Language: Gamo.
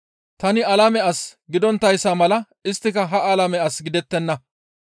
Tani alame as gidonttayssa mala isttika ha alame as gidettenna.